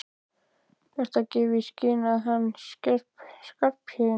Ertu að gefa í skyn að hann Skarphéðinn.